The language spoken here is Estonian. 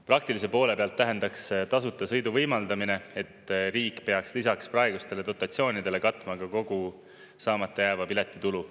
Praktilise poole pealt tähendaks tasuta sõidu võimaldamine, et riik peaks lisaks praegustele dotatsioonidele katma ka kogu saamata jääva piletitulu.